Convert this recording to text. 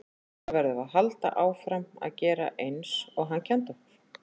Núna verðum við að halda áfram að gera eins og hann kenndi okkur.